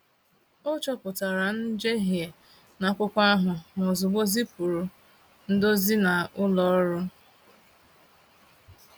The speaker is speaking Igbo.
O chopụtara njehie n’akwụkwọ ahụ ma ozugbo zipụrụ ndozi na ụlọ ọrụ.